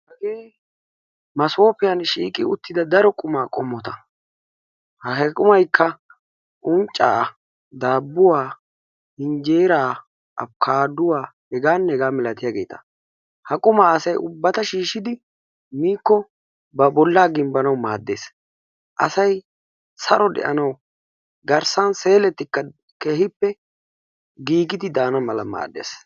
Hagee masooppiyan shiiqqi uttida daro qummaa qommota. Qummaykka unccaa, daabuwaa, injjeraa, abbkkaadduwa hegaanne hegaa malatiyageeta. Ha asay ubbata shiishidi miikko ba boollaa gimbbanawu maaddees. Asay saro de'anawu garssan seelettikka keehippe giiggidi daana mala maaddees.